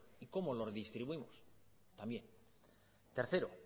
y cómo los distribuimos también tercero